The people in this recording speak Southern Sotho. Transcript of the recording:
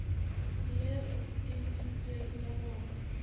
leo e ntshitsweng ka lona